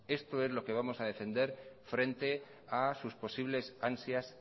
esto es lo que vamos a defender frente a sus posibles ansias